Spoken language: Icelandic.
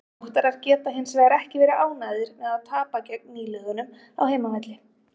Þróttarar geta hinsvegar ekki verið ánægðir með að tapa gegn nýliðunum á heimavelli.